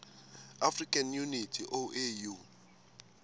african unity oau